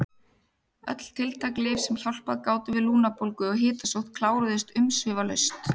Öll tiltæk lyf sem hjálpað gátu við lungnabólgu og hitasótt kláruðust umsvifalaust.